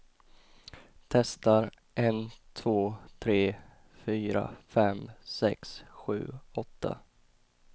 Testar en två tre fyra fem sex sju åtta.